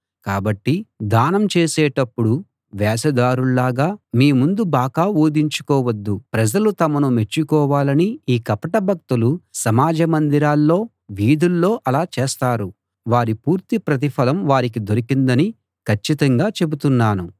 కాబట్టి దానం చేసేటప్పుడు వేషధారుల్లాగా మీ ముందు బాకా ఊదించుకోవద్దు ప్రజలు తమను మెచ్చుకోవాలని ఈ కపట భక్తులు సమాజ మందిరాల్లో వీధుల్లో అలా చేస్తారు వారి పూర్తి ప్రతిఫలం వారికి దొరికిందని కచ్చితంగా చెబుతున్నాను